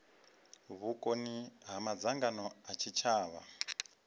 vhukoni ha madzangano a tshitshavha